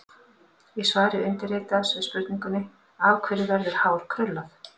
Í svari undirritaðs við spurningunni: Af hverju verður hár krullað?